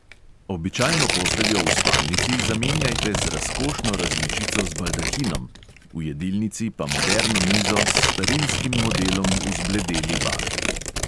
Običajno posteljo v spalnici zamenjajte z razkošno različico z baldahinom, v jedilnici pa moderno mizo s starinskim modelom v zbledeli barvi.